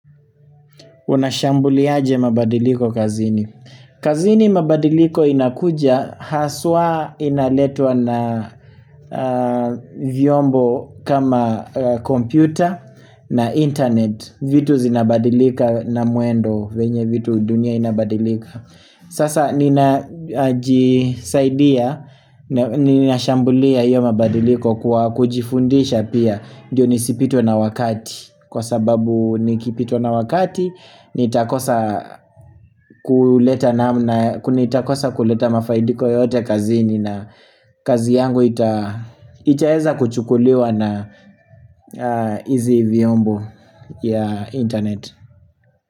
Unashambuliaje mabadiliko kazini. Kazini mabadiliko inakuja haswa inaletwa na aa vyombo kama a kompyuta na internet. Vitu zinabadilika na muendo venye vitu dunia inabadilika. Sasa nina ji saidia, na ninashambulia hiyo mabadiliko kwa kujifundisha pia. Ndiyo nisipitwe na wakati kwa sababu nikipitwa na wakati Nitakosa ku leta namna kunitakosa kuleta mafaidiko yote kazini na kazi yangu ita itaeza kuchukuliwa na aa izi vyombo ya internet.